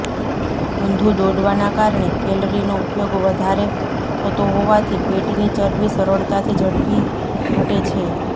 ઊંધું દોડવાના કારણે કેલરીનો ઉપયોગ વધારે થતો હોવાથી પેટની ચરબી સરળતાથી ઝડપી ઘટે છે